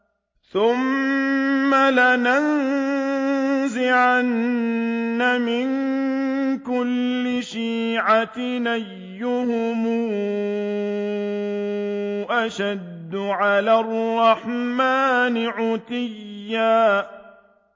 ثُمَّ لَنَنزِعَنَّ مِن كُلِّ شِيعَةٍ أَيُّهُمْ أَشَدُّ عَلَى الرَّحْمَٰنِ عِتِيًّا